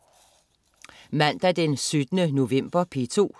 Mandag den 17. november - P2: